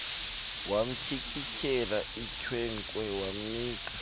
wamtyikityela icheque wamnika